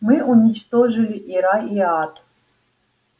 мы уничтожили и рай и ад